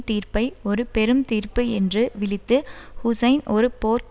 தீர்ப்பை ஒரு பெரும் தீர்ப்பு என்று விளித்து ஹுசைன் ஒரு போர்க்